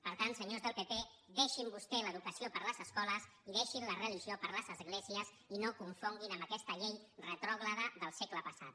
per tant senyors del pp deixin vostès l’educació per a les escoles i deixin la religió per a les esglésies i no confonguin amb aquesta llei retrògrada del segle passat